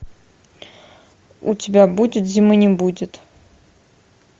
у тебя будет зимы не будет